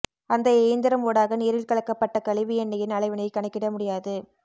அந்த இயந்திரம் ஊடாக நீரில் கலக்கபப்ட்ட கழிவு எண்ணெயின் அளவினை கணக்கிட முடியாது